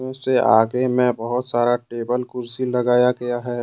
उस से आगे में बहुत सारा टेबल कुर्सी लगाया गया है।